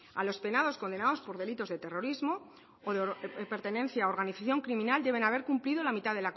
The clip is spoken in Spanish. a los penados condenados por delitos de terrorismo o de pertenencia a organización criminal deben haber cumplido la mitad